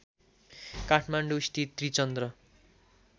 काठमाडौँस्थित Trichandra